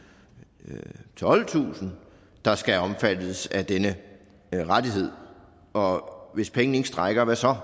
tolvtusind der skal omfattes af denne rettighed og hvis pengene ikke strækker hvad så